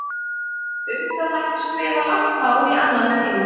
Um það mætti skrifa langt mál í annan tíma.